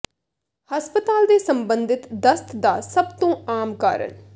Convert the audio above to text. ਹਸਪਤਾਲ ਦੇ ਸਬੰਧਿਤ ਦਸਤ ਦਾ ਸਭ ਤੋਂ ਆਮ ਕਾਰਨ